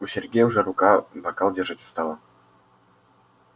у сергея уже рука бокал держать устала